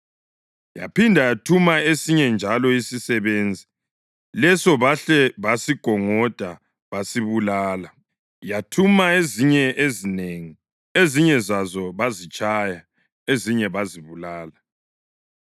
Yaphinde yathuma esinye njalo isisebenzi, leso bahle basigongoda basibulala. Yathuma ezinye ezinengi; ezinye zazo bazitshaya, ezinye bazibulala.